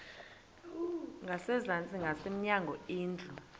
ngasezantsi ngasemnyango indlu